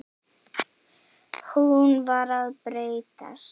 Hún var að breytast.